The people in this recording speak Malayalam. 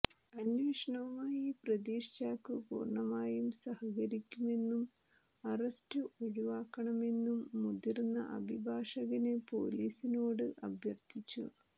അന്വേഷണവുമായി പ്രതീഷ് ചാക്കോ പൂര്ണ്ണമായും സഹകരിക്കുമെന്നും അറസ്റ്റ് ഒഴിവാക്കണമെന്നും മുതിര്ന്ന അഭിഭാഷകന് പൊലീസിനോട് അഭ്യര്ത്ഥിച്ചു